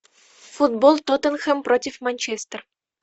футбол тоттенхэм против манчестер